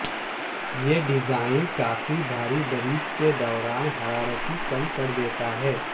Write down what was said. یہ ڈیزائن کافی بھاری بریک کے دوران حرارتی کم کر دیتا ہے